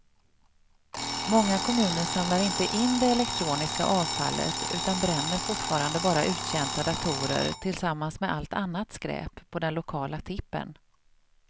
Många kommuner samlar inte in det elektroniska avfallet utan bränner fortfarande bara uttjänta datorer tillsammans med allt annat skräp på den lokala tippen.